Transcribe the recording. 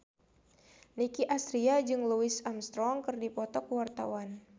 Nicky Astria jeung Louis Armstrong keur dipoto ku wartawan